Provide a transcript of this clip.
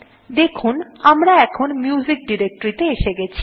এখন দেখুন আমরা মিউজিক ডিরেক্টরী তে এসে গেছি